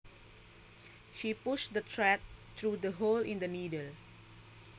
She pushed the thread through the hole in the needle